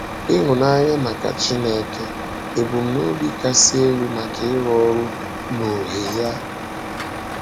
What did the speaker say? Ịhụ́nanya maka Chínèké — Ebumnòbi Kasị Elú maka Ịrụ Ọrụ N’Ọhè Ya